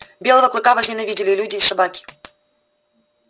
белого клыка возненавидели и люди и собаки